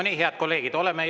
Nii, head kolleegid!